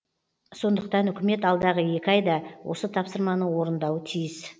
сондықтан үкімет алдағы екі айда осы тапсырманы орындауы тиіс